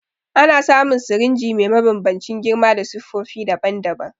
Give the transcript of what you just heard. Ana samu sirinji me mabanbancin girma da siffofi daban-daban.